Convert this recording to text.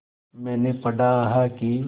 मैंने पढ़ा है कि